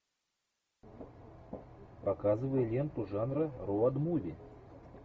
показывай ленту жанра роуд муви